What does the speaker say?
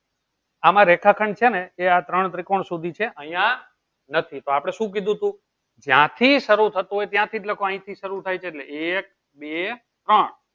આમાં રેખા ખંડ છે ને એ આ ત્રણ ત્રિકોણ સુધી છે અયીયા નથી તો આપળે શું કીધું હતું જ્યાં થી સરૂ થતું હતું ત્યાં થી લખવાની અયી થી શરૂ થાય છે એટલે એક બે ત્રણ